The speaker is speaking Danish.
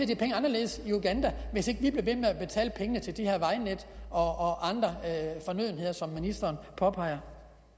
de penge anderledes i uganda hvis ikke vi blev ved med at betale pengene til de her vejnet og andre fornødenheder som ministeren påpeger